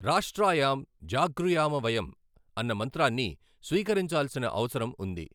రాష్ట్రాయాం జాగృయామ వయం అన్న మంత్రాన్ని స్వీకరించాల్సిన అవసరం ఉంది.